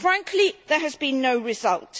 Frankly, there has been no result.